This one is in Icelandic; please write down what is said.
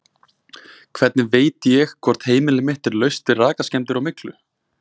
Hvernig veit ég hvort heimili mitt er laust við rakaskemmdir og myglu?